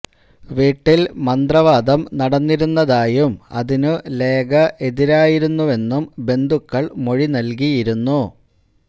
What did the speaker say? വീട്ടില് മന്ത്രവാദം നടന്നിരുന്നതായും അതിനു ലേഖ എതിരായിരുന്നുവെന്നും ബന്ധുക്കള് മൊഴി നല്കിയിരുന്നു